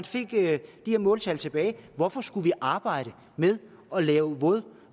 fik de her måltal tilbage hvorfor skulle vi arbejder med at lave våde